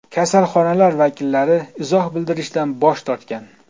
Kasalxonalar vakillari izoh bildirishdan bosh tortgan.